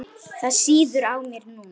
Það sýður á mér núna.